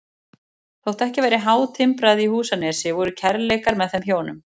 Þótt ekki væri hátimbrað í Húsanesi voru kærleikar með þeim hjónum